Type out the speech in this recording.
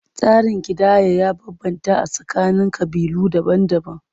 Tsarin kidayar ya bambanta a tsakanin ƙabilu daban-daban.